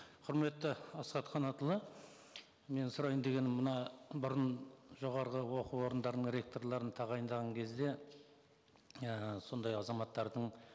құрметті асхат қанатұлы менің сұрайын дегенім мына бұрын жоғарғы оқу орындарының ректорларын тағайындаған кезде ііі сондай азаматтардың